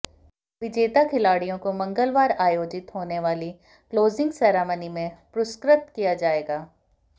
विजेता खिलाड़ियों को मंगलवार आयोजित होने वाली क्लोजिंग सैरेमनी में पुरस्कृत किया जाएगा